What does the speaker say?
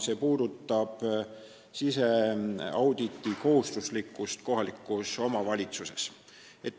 See puudutab siseauditi kohustuslikkust kohalikus omavalitsuses.